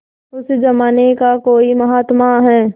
उस जमाने का कोई महात्मा है